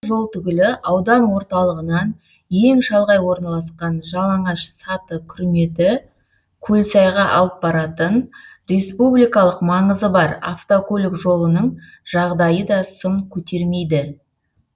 басқа жол түгілі аудан орталығынан ең шалғай орналасқан жалаңаш саты күрметі көлсайға алып баратын республикалық маңызы бар автокөлік жолының жағдайы да сын көтермейді